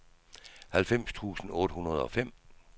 halvfems tusind otte hundrede og fem